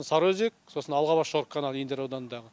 сарыөзек сосын алғабас жорық каналы индер ауданындағы